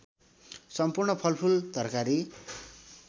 सम्पूर्ण फलफूल तरकारी